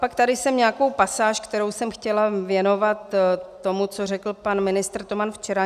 Pak tady mám nějakou pasáž, kterou jsem chtěla věnovat tomu, co řekl pan ministr Toman včera.